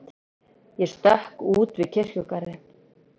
Ég stökk út við kirkjugarðinn.